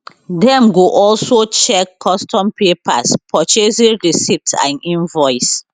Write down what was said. dem go also check custom papers purchasing receipt and invoice